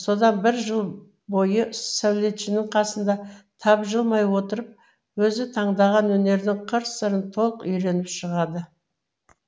содан бір жыл бойы сәулетшінің қасында тапжылмай отырып өзі таңдаған өнердің қыр сырын толық үйреніп шығады